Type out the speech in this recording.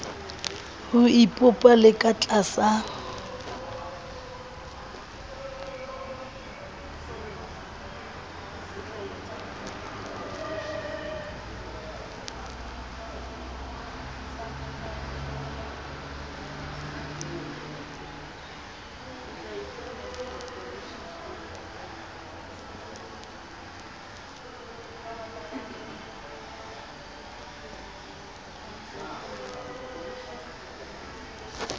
ho ipopa le ka tlasa